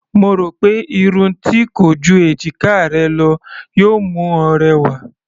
Mo rò pé irun tí kò ju èjiká rẹ lọ yóò mú ọ rẹwà.